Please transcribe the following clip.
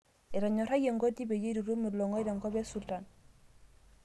Etonyorayie NGoti peyie itutum ilong'oe tenkop esultan